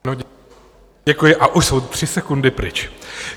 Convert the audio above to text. Děkuji, a už jsou tři sekundy pryč.